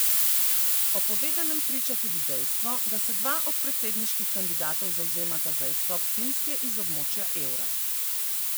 O povedanem priča tudi dejstvo, da se dva od predsedniških kandidatov zavzemata za izstop Finske iz območja evra.